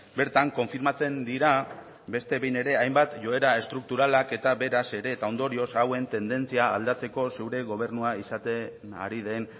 bertan konfirmatzen dira beste behin ere hainbat joera estrukturalak eta beraz ere eta ondorioz hauen tendentzia aldatzeko zure gobernua izaten ari den